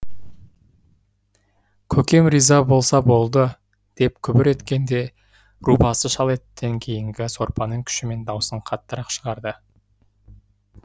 көкем риза болса болды деп күбір еткенде рубасы шал еттен кейінгі сорпаның күшімен даусын қаттырақ шығарды